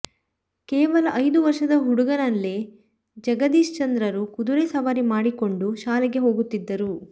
ಕೇವಲ ಐದು ವರ್ಷದ ಹುಡುಗನಲ್ಲೇ ಜಗದೀಶಚಂದ್ರರು ಕುದುರೆ ಸವಾರಿ ಮಾಡಿಕೊಂಡು ಶಾಲೆಗೆ ಹೋಗುತ್ತಿದ್ದರು